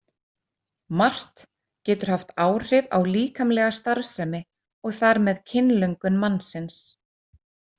Margt getur haft áhrif á líkamlega starfsemi og þar með kynlöngun mannsins.